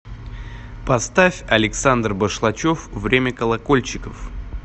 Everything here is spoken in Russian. поставь александр башлачев время колокольчиков